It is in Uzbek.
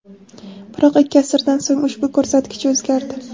Biroq ikki asrdan so‘ng ushbu ko‘rsatkich o‘zgardi.